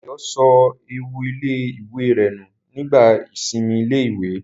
Dayọ̀ sọ ẹ̀wù ilé-ìwé rẹ̀ nù nígbà ìsinmi ilé-ìwé